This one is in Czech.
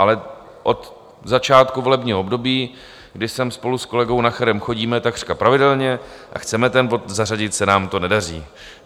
Ale od začátku volebního období, kdy sem spolu s kolegou Nacherem chodíme takřka pravidelně a chceme ten bod zařadit, se nám to nedaří.